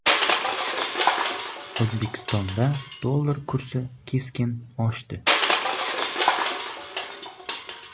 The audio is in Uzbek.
O‘zbekistonda dollar kursi keskin oshdi.